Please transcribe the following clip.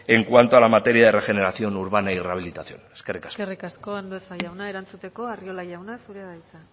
en cuanto a la materia de regeneración urbana y rehabilitación eskerrik asko eskerrik asko andueza jauna erantzuteko arriola jauna zurea da hitza